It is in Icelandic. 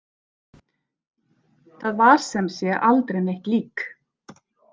Þar var sem sé aldrei neitt lík.